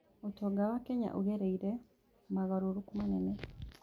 ũtonga wa Kenya ũgereire mogarũrũku manene.